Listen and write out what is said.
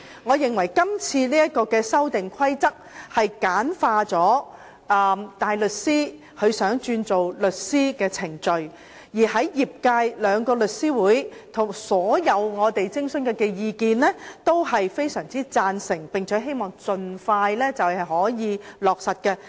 我認為，今次的《修訂規則》簡化了大律師轉為律師的程序；而在我們徵詢後，兩大律師組織及業界的所有意見均非常贊同，並希望盡快可以落實。